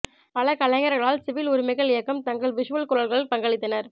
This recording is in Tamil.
பல கலைஞர்களால் சிவில் உரிமைகள் இயக்கம் தங்கள் விஷுவல் குரல்கள் பங்களித்தனர்